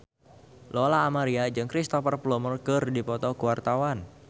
Lola Amaria jeung Cristhoper Plumer keur dipoto ku wartawan